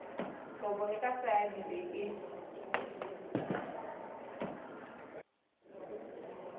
kopo e ka tsaya dibeke